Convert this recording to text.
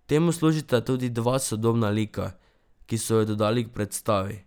Temu služita tudi dva sodobna lika, ki so ju dodali k predstavi.